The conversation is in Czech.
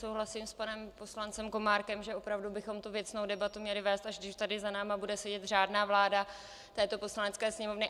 Souhlasím s panem poslancem Komárkem, že opravdu bychom tu věcnou debatu měli vést, až když tady za námi bude sedět řádná vláda této Poslanecké sněmovny.